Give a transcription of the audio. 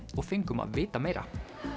og fengum að vita meira